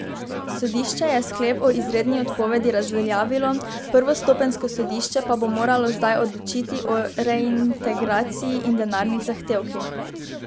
Sodišče je sklep o izredni odpovedi razveljavilo, prvostopenjsko sodišče pa bo moralo zdaj odločiti o reintegraciji in denarnih zahtevkih.